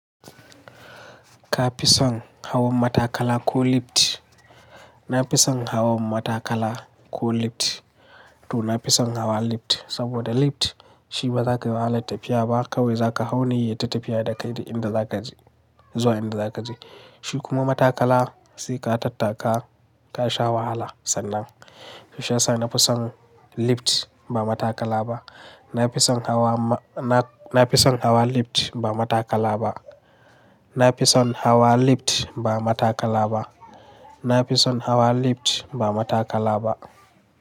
Ka fi son hawa matakala ko lift? Na fi son hawa matakala ko lift, to na fi son hawa lift, saboda lift shi ba za kayi wahalar tafiya ba, kawai za ka hau ne yayita tafiya da kai duk inda za ka je, zuwa inda za ka je. Shi kuma matakala sai ka tattaka ka sha wahala sannan. Shi ya sa na fi son lift ba matakala ba. Na fi son hawa ma, na, na fi son hawa lift ba matakala ba. Na fi son hawa lift ba matakala ba. Na fi son hawa lift ba matakala ba.